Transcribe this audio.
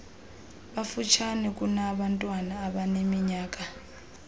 bafutshane kunabantwana abaneminyaka